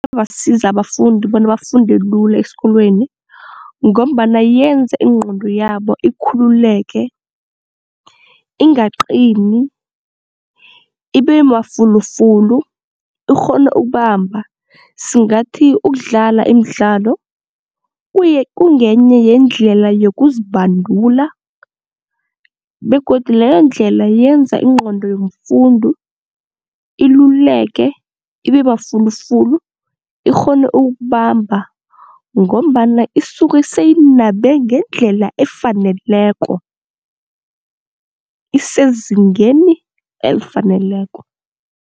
Iyabasiza abafundi bona bafunde lula esikolweni ngombana yenza ingqondo yabo ikhululeke ingaqini ibe mafulufulu, ikghone ukubamba. Singathi ukudlala imidlalo kuye kungenye yeendlela yokuzibandula begodu leyo ndlela yenza ingqondo yomfundi iluleke ibe mafulufulu, ikghone ukubamba ngombana isuke seyinabe ngendlela efaneleko isezingeni elifaneleko.